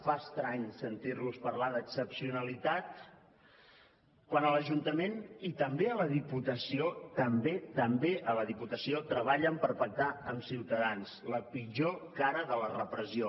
fa estrany sentir los parlar d’excepcionalitat quan a l’ajuntament i també a la diputació també també a la diputació treballen per pactar amb ciutadans la pitjor cara de la repressió